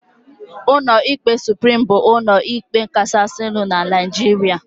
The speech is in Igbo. Ụlọ ikpe Suprim bụ ụlọ ikpe kachasinu n'Naijiria